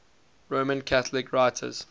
roman catholic writers